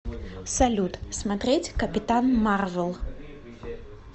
салют смотреть капитан марвел